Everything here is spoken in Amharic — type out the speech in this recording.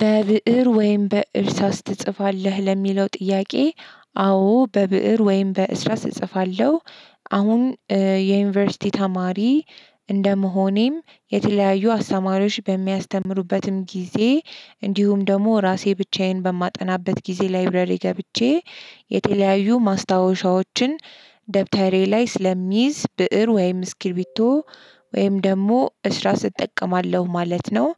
በብእር ወይም በእርሳስ ትጽፋለህ ለሚለው ጥያቄ? አዎ በብእር ወይም በእስራስ እጽፋለሁ። አሁን የዩኒቨርሲቲ ተማሪ እንደመሆኔም የተለያዩ አስተማሪዎች በሚያስተምሩበትም ጊዜ እንዲሁም ደግሞ ራሴ ብቻዬን በማጠናበት ጊዜ ላይብረሪ ገብቼ የተለያዩ ማስታወሻዎችን። ደብተሬ ላይ ስለሚይዝ ብእር ወይም ስክሪቢቶ ወይም ደግሞ እስራስት እጠቀማለሁ ማለት ነው።